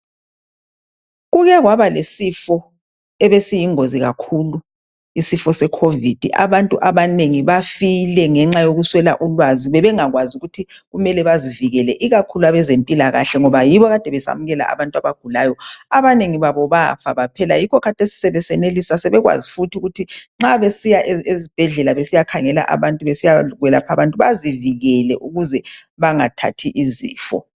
Kukekwaba lesifo ebesiyingozi kakhulu esifo secovid abantu abanengi bafile ngenxa yokuswela ulwazi bebengakwazi ukuthi kumele bazivikele ikakhulu abezempilakahle ngoba yibo ade besemukela abantu abagulayo abanengi babo bafa baphela ngikho khathesi besenelisa sebekwazi futhi ukuthi nxa besiya esibhedlela besiyakhangela abantu besiyakwelapha abantu bazivikele ukuze bangathathi izifo.